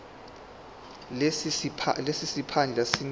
lesi siphandla sinikezwa